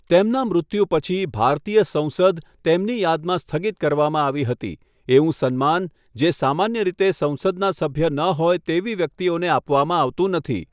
તેમના મૃત્યુ પછી, ભારતીય સંસદ તેમની યાદમાં સ્થગિત કરવામાં આવી હતી, એવું સન્માન, જે સામાન્ય રીતે સંસદના સભ્ય ન હોય તેવી વ્યક્તિઓને આપવામાં આવતું નથી.